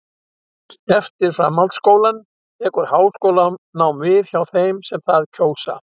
Eftir framhaldsskólann tekur háskólanám við hjá þeim sem það kjósa.